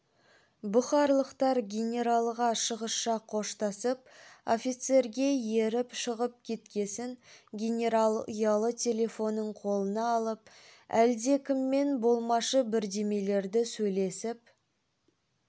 бұхарлықтар генералға шығысша қоштасып офицерге еріп шығып кеткесін генерал ұялы телефонын қолына алып әлдекіммен болмашы бірдемелерді сөйлесіп